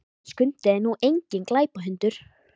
En Skundi er nú enginn glæpahundur.